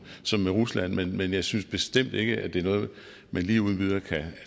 som med rusland men jeg synes bestemt ikke at det er noget man lige uden videre kan